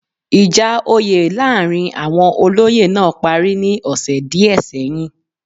Ìjà oyè láàrin àwon olóyè náà parí ní ọ̀sẹ̀ díẹ̀ sẹ́yìn